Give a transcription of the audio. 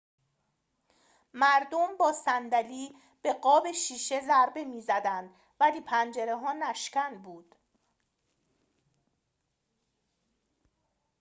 مردم با صندلی به قاب شیشه ضربه می‌زدند ولی پنجره‌ها نشکن بودند